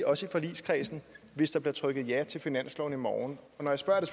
også i forligskredsen hvis der bliver stemt ja til finansloven i morgen når jeg spørger er